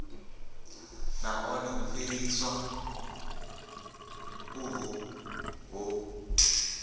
nahone u fheliswa uho hu